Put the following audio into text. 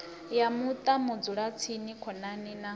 ya muṱa vhadzulatsini khonani na